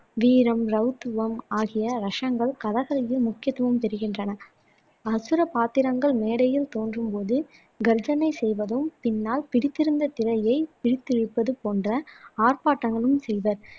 வீரம், ஆகிய ரசங்கள் கதகளியில் முக்கியத்துவம் பெறுகின்றன அசுர பாத்திரங்கள் மேடையில் தோன்றும் போது கர்ஜனை செய்வதும் பின்னால் பிடித்திருந்த திரையைப் பிடித்திழுப்பது போன்ற ஆர்ப்பாட்டங்களும் செய்வர்